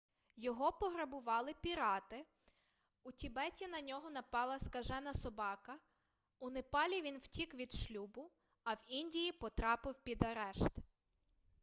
його пограбували пірати у тібеті на нього напала скажена собака у непалі він втік від шлюбу а в індії потрапив під арешт